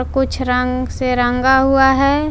कुछ रंग से रंगा हुआ है।